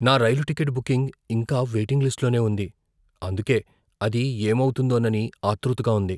నా రైలు ticket booking ఇంకా వెయిటింగ్ లిస్ట్లోనే ఉంది అందుకే అది ఏమవుతుందోనని ఆత్రుతగా ఉంది.